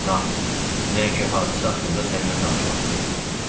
Nahid, dünənki hadisə haqqında sənlə danışmaq istəyirəm.